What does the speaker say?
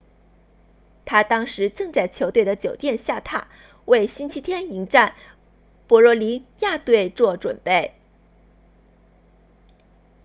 他当时正在球队的酒店下榻为星期天迎战博洛尼亚队做准备